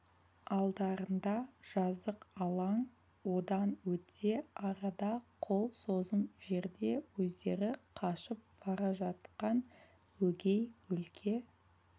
алдарында жазық алаң одан өтсе арада қол созым жерде өздері қашып бара жатқан өгей өлке